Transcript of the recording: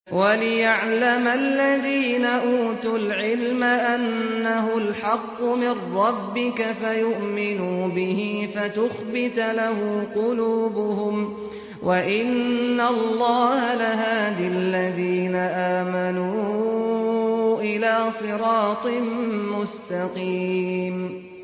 وَلِيَعْلَمَ الَّذِينَ أُوتُوا الْعِلْمَ أَنَّهُ الْحَقُّ مِن رَّبِّكَ فَيُؤْمِنُوا بِهِ فَتُخْبِتَ لَهُ قُلُوبُهُمْ ۗ وَإِنَّ اللَّهَ لَهَادِ الَّذِينَ آمَنُوا إِلَىٰ صِرَاطٍ مُّسْتَقِيمٍ